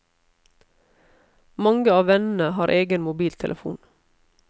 Mange av vennene har egen mobiltelefon.